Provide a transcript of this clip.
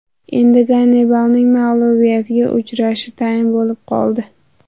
Endi Gannibalning mag‘lubiyatga uchrashi tayin bo‘lib qoldi.